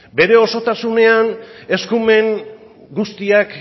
bere osotasunean eskumen guztiak